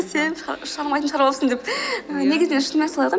сен шығармайтынды шығарып аласың деп негізінен шынымен солай ғой